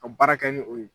Ka baara kɛ ni o ye